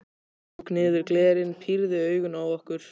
Hann tók niður glerin, pírði augun á okkur.